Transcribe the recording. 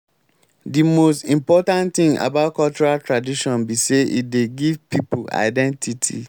di most important thing about cultural tradition be say e dey give pipo identity